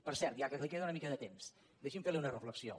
per cert ja que li queda una mica de temps deixi’m fer li una reflexió